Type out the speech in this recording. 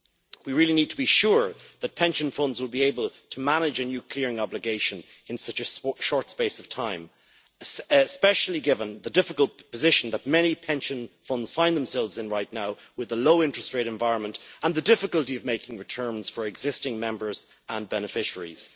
We really need to be sure that pension funds will be able to manage a new clearing obligation in such a short space of time, especially given the difficult position that many pension funds find themselves in right now with the low interest rate environment and the difficulty of making returns for existing members and beneficiaries.